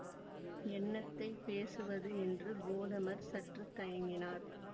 என்னத்தைப் பேசுவது என்று கோதமர் சற்று தயங்கினார்